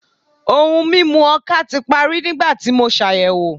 Ohun mimu oka ti pari nigbati mo ṣayẹwo